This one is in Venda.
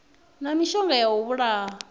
na mishonga ya u vhulaha